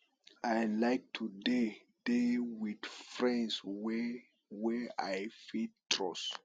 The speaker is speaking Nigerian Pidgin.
i like to dey dey wit friends wey wey i fit trust